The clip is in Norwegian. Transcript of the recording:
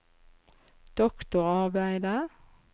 doktorarbeidet